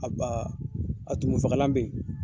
A ba a tumun fakalan bɛ yen